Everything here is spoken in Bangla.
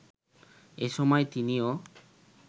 এসময় তিনিও